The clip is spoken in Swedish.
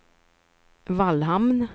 Vallhamn